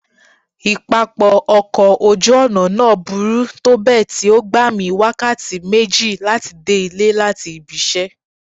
Ipapọ ọkọ oju-ọna naa buru tobẹẹ ti o gba mi wakati meji lati de ile lati ibi iṣẹ.